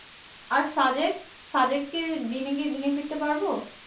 আর সাদেক সাদেক কি দিনে গিয়ে দিন ফিরতে পারবো